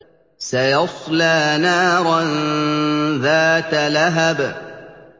سَيَصْلَىٰ نَارًا ذَاتَ لَهَبٍ